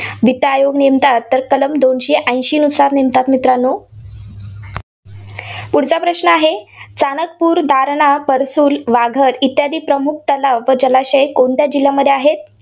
वित्त आयोग नेमतात? तर कलम दोनशे ऐंशीनुसार नेमतात, मित्रांनो. पुढचा प्रश्न आहे, चाणकपूर, दारणा, परसुल, वाघद इत्यादी प्रमुख तलाव जलाशय कोणत्या जिल्ह्यामध्ये आहेत?